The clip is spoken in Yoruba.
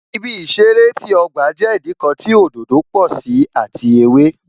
Ibi ìṣeré ti ọgba jẹ́ Ìdíkọ̀ tí òdòdó pò sí àti ewé